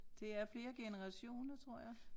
Det er flere generationer tror jeg